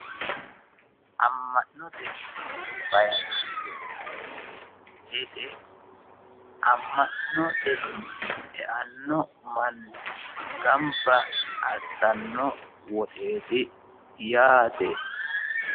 amma'note fayiinaanse mine yineemmo wote amma'note mine eanno manni gamba assanno woxeeti yaate.